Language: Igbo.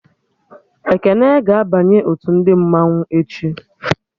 Ekene ga-abanye otu ndị mmanwụ echi